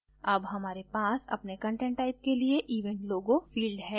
अब हमारे पास अपने content type के लिए event logo field है